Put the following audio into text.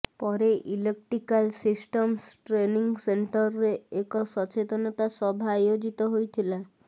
ପରେ electrical systems training ସେଣ୍ଟରରେ ଏକ ସଚେତନତା ସଭା ଆୟୋଜିତ ହୋଇଥିଲା